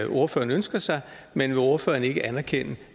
ordføreren ønsker sig men vil ordføreren ikke anerkende